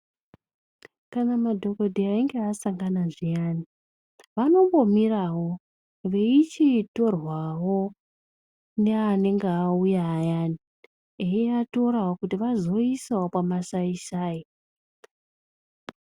Kana madhokodheya einge asangana zviyani vanombomirawo veichitorwawo neanenge auya ayani eiatorawo kuti vazoisawo pamasai sai.